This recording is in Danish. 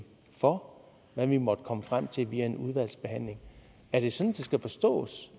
for hvad vi måtte komme frem til via en udvalgsbehandling er det sådan det skal forstås